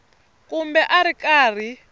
kumbe a a ri karhi